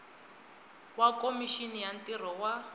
wa khomixini ya ntirho wa